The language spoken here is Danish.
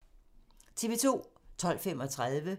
TV 2